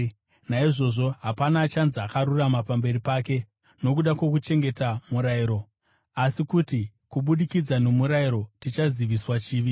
Naizvozvo hapana achanzi akarurama pamberi pake nokuda kwokuchengeta murayiro; asi kuti, kubudikidza nomurayiro tichaziviswa chivi.